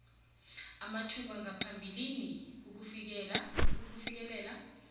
amathuba ngaphambilini ukufikelela